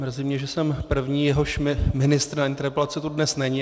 Mrzí mě, že jsem první, jehož ministr na interpelace tu dnes není.